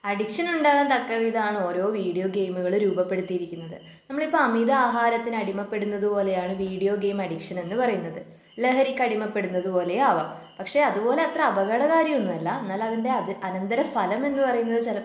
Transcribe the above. Addiction ഉണ്ടാകാൻ തക്കവിധമാണ് ഓരോ വീഡിയോ ഗെയിമുകൾ രൂപപ്പെടുത്തിയിരിക്കുന്നത്. നമ്മൾ ഇപ്പോ അമിത ആഹാരത്തിന് അടിമപ്പെടുന്നത് പോലെയാണ് വീഡിയോ ഗെയിം അഡിക്ഷൻ എന്നുപറയുന്നത്. ലഹരിക്കടിമപ്പെടുന്നതു പോലെയാവാം പക്ഷേ അതുപോലെ അത്ര അപകടകാരിയൊന്നുമല്ല എന്നാൽ അതിൻ്റെ അതി അനന്തരഫലം സ്ഥലം എന്നുപറയുന്നത് ചിലപ്പോ